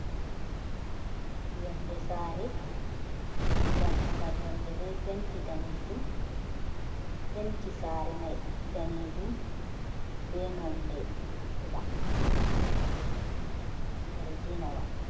Yonde sare, dammugal yonde be penti sare mai danejum, be nonde bula zarginawa.